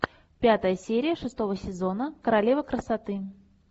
пятая серия шестого сезона королева красоты